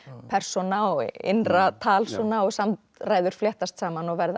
persóna og innra tal svona og samræður fléttast saman og verða